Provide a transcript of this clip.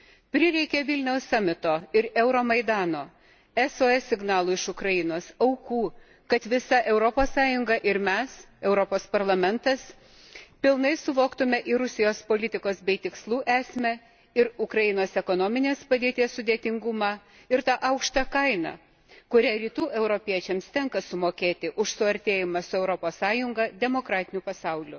Prireikė Vilniaus aukščiausiojo lygio susitikimo ir Euromaidano, SOS signalų iš Ukrainos, aukų, kad visa Europos Sąjunga ir mes, Europos Parlamentas, visiškai suvoktume ir Rusijos politikos bei tikslų esmę, ir Ukrainos ekonominės padėties sudėtingumą, ir tą aukštą kainą, kurią Rytų europiečiams tenka sumokėti už suartėjimą su Europos Sąjunga, demokratiniu pasauliu.